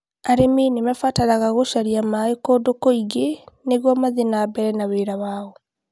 arĩmi nĩ marabatara gũcaria maaĩ kũndũ kũngĩ nĩguo mathiĩ na mbere na wĩra wao